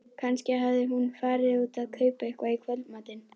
Kannski hafði hún farið út að kaupa eitthvað í kvöldmatinn.